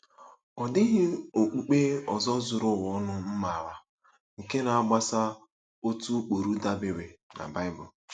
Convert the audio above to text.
Ọ dịghị okpukpe ọzọ zuru ụwa ọnụ m maara nke na-agbaso otu ụkpụrụ dabeere na Bible.